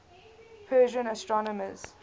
persian astronomers